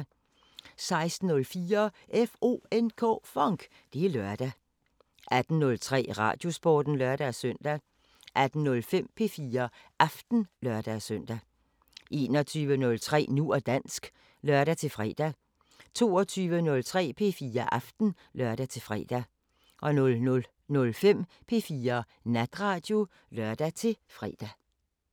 16:04: FONK! Det er lørdag 18:03: Radiosporten (lør-søn) 18:05: P4 Aften (lør-søn) 21:03: Nu og dansk (lør-fre) 22:03: P4 Aften (lør-fre) 00:05: P4 Natradio (lør-fre)